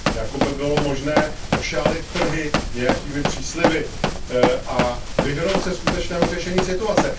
Jako by bylo možné ošálit trhy nějakými přísliby a vyhnout se skutečnému řešení situace.